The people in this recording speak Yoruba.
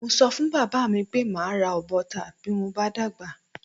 Mo so̩ fún bàbá mi pé màá ra ọ̀bọ ta bí mo bá dàgbà.